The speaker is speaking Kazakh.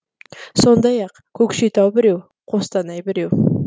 сондай ақ көкшетау біреу қостанай біреу